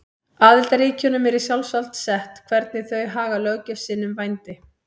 Aðildarríkjunum er í sjálfsvald sett hvernig þau haga löggjöf sinni um vændi.